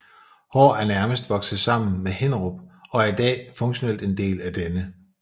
Hår er nærmest vokset sammen med Hinnerup og er i dag funktionelt en del af denne